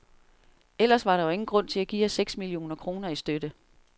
Ellers var der jo ingen grund til at give os seks millioner kroner i støtte.